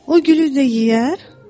o gülü də yeyər?